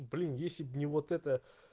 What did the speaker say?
блин если б не вот это